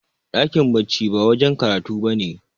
dakin bacci ba wajen karatu ba ne